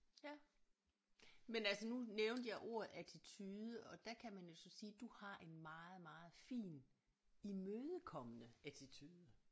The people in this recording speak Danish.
Ja men altså nu nævnte jeg ordet attitude og der kan man jo så sige du har en meget meget fin imødekommende attitude